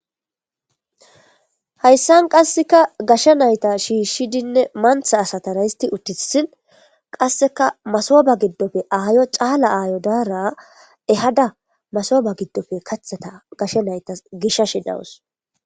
Hayssan qasseka gashsha nayta shiishshidinne mantha asatara histi uttissin qasseka masoba giddofe aayo caala aayo daara ehada masoba giddofe kathata gashshe naytas gishashi dawus.